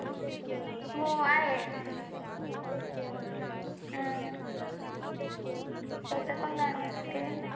हो आहे. हम्म त्याचं पण काढून घेते.